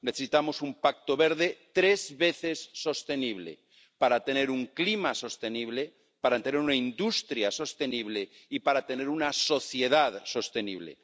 Necesitamos un pacto verde tres veces sostenible para tener un clima sostenible, para tener una industria sostenible y para tener una sociedad sostenible.